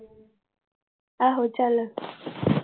ਆਹੋ ਚੱਲ